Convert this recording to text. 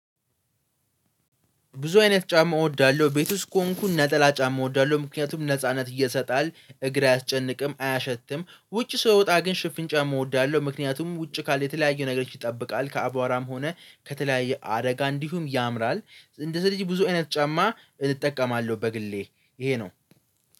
ብዙ አይነት ጫማ እወዳለሁ ቤት ውስጥ ከሆንኩ ነጠላ ጫማ እወዳለሁ ምክንያቱም ነጻነት እየሰጣል እግር አያስጨንቅም አያሸትም ውጪ ስወጣ ግን ሽፍን ጫማ እወዳለሁ ምክንያቱም ውጪ ካለ የተለያዩ ነገሮች ይጠብቃል ከአቧራም ሆነ ከተለያየ አደጋ እንዲሁም ያምራል። እንደዚህ ስለዚህ ብዙ አይነት ጫማ እጠቀማለሁ በግሌ ይሄ ነው